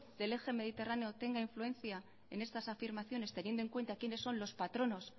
del eje mediterráneo tenga influencia en estas afirmaciones teniendo en cuenta quienes son los patronos